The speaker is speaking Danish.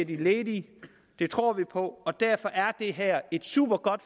de ledige det tror vi på og derfor er det her et supergodt